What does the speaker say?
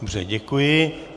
Dobře, děkuji.